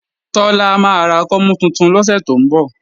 Tọ́lá máa ra kọ́mú tuntun lọ́sẹ̀ tó ń bọ̀